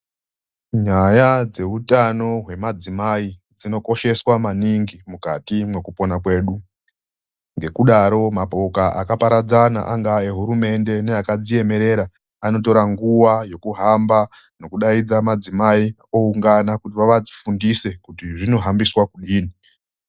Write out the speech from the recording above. Nyaya dzeutano hwemadzimai dzinokosheswa maningi mukati mwekupona kwedu. Ngekudaro mapoka akaparadzana angaa ehurumende neakadziemerera anotora nguwa yekuhamba nokudaidza madzimai oungana kuti vavafundise kuti zvinohambiswa kudini.